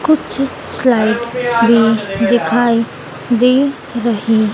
कुछ फ्लाइट भी दिखाई दे रही--